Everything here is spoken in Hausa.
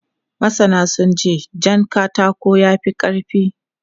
Masana sun ce jan katako ya fi ƙarfi.